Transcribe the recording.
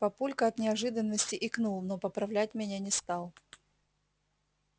папулька от неожиданности икнул но поправлять меня не стал